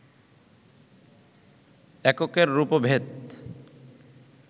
এককের রূপভেদ,